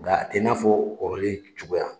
Nka a tɛ n'a fɔ kɔrɔlen cogoya